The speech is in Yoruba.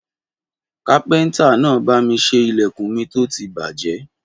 Kàpẹńtà nà bàmí sẹ ìlẹkún mi tó tì bàjẹ.